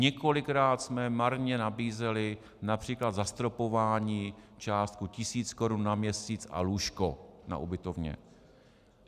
Několikrát jsme marně nabízeli například zastropování částkou tisíc korun na měsíc a lůžko na ubytovně.